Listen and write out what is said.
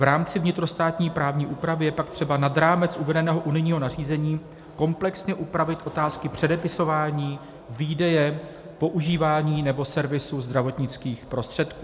V rámci vnitrostátní právní úpravy je pak třeba nad rámec uvedeného unijního nařízení komplexně upravit otázky předepisování, výdeje, používání nebo servisu zdravotnických prostředků.